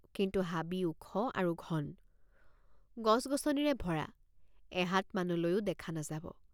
কিন্তু হাবি ওখ আৰু ঘন গছগছনিৰে ভৰা এহাত মানলৈও দেখা নাযাব।